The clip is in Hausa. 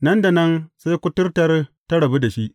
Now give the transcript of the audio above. Nan da nan, sai kuturtar ta rabu da shi.